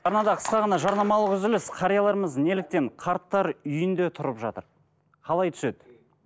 арнада қысқа ғана жарнамалық үзіліс қарияларымыз неліктен қарттар үйінде тұрып жатыр қалай түседі